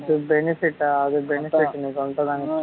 அது benefit ஆ அது benefit நீ சொல்றது